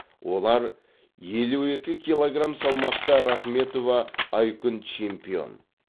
олар елу екі килограм салмақта рахметова айкүн чемпион